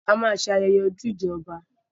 A ma ṣe ayẹyẹ ojúde ọba